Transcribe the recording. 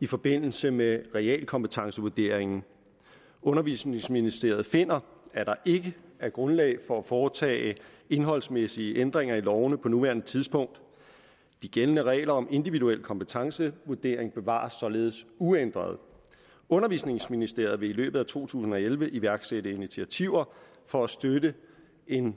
i forbindelse med realkompetencevurderinger undervisningsministeren finder at der ikke er grundlag for at foretage indholdsmæssige ændringer i lovene på nuværende tidspunkt de gældende regler om individuel kompetencevurdering bevares således uændret undervisningsministeriet vil i løbet af to tusind og elleve iværksatte initiativer for at støtte en